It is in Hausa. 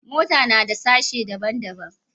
Mota nada sashe daban daban